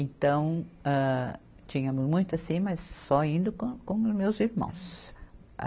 Então, âh, tínhamos muito assim, mas só indo com meus irmãos.